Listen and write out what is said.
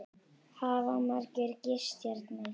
Hafa margir gist hérna?